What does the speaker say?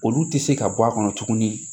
Olu tɛ se ka bɔ a kɔnɔ tuguni